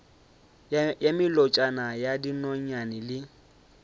ya melotšana ya dinonyane le